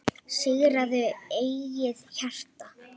Sigraðu eigið hjarta